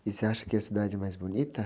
E você acha que a cidade é mais bonita?